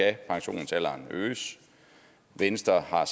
at pensionsalderen øges venstre har